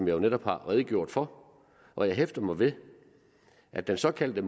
jo netop har redegjort for og jeg hæfter mig ved at den såkaldte